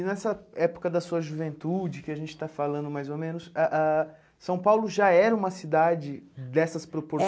E nessa época da sua juventude, que a gente está falando mais ou menos, ah ah São Paulo já era uma cidade dessas proporções?